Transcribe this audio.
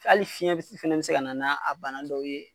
Hali fiɲɛ fana bi se ka na n'a bana dɔw ye.